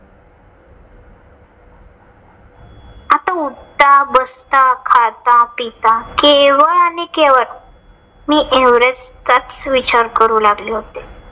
आता उठता, बसता, खाता, पिता केवळ आणि केवळ मी एव्हरेस्टचाच विचार करू लागले होते.